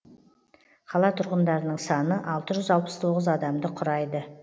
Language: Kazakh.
қала тұрғындарының саны алты жүз алпыс тоғыз адамды құрайды